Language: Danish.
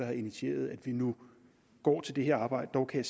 har initieret at vi nu går til det her arbejde dog kan